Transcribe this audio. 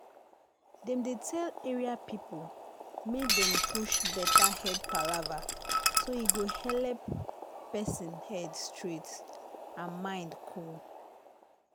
dem dey tell area people make dem push better head palava so e go helep person head straight and mind cool.